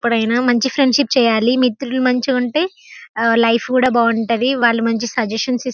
ఎప్పుడైనా మంచి ఫ్రెండ్షిప్ చేయాలి మిత్రులు మంచి ఉంటె ఆ లైఫ్ కూడా బాగా ఉంటది. వాలు మంచి సజషన్స్ --